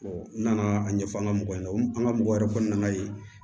n nana a ɲɛfɔ an ka mɔgɔw ɲɛna an ka mɔgɔ yɛrɛ kɔni nana ye